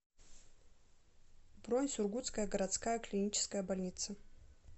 бронь сургутская городская клиническая больница